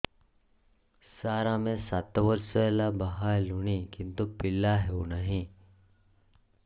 ସାର ଆମେ ସାତ ବର୍ଷ ହେଲା ବାହା ହେଲୁଣି କିନ୍ତୁ ପିଲା ହେଉନାହିଁ